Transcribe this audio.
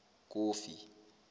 kofi